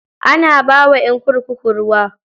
Ana bawa ƴan kurkuku ruwa.